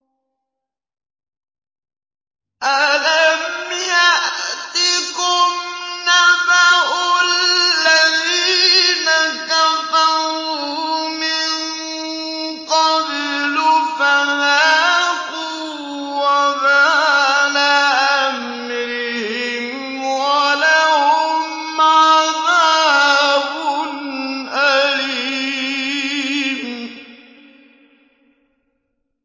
أَلَمْ يَأْتِكُمْ نَبَأُ الَّذِينَ كَفَرُوا مِن قَبْلُ فَذَاقُوا وَبَالَ أَمْرِهِمْ وَلَهُمْ عَذَابٌ أَلِيمٌ